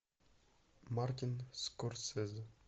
мартин скорсезе